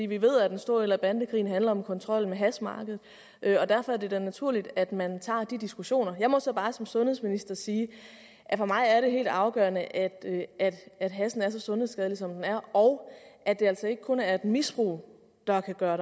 vi ved at en stor del af bandekrigen handler om kontrollen med hashmarkedet derfor er det da naturligt at man tager de diskussioner jeg må så bare som sundhedsminister sige at for mig er det helt afgørende at hashen er så sundhedsskadelig som den er og at det altså ikke kun er misbrug der kan gøre